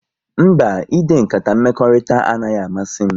Mba, ide nkata mmekọrịta anaghị amasị m